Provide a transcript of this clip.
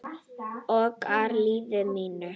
Ögra lífi mínu.